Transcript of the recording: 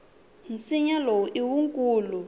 nsinya lowu i wukulu